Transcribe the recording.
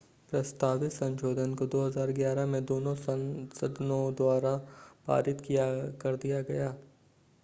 प्रस्तावित संशोधन को 2011 में दोनों सदनों द्वारा पारित कर दिया गया